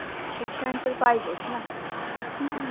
शिक्षण तर पाहिजेच ना हम्म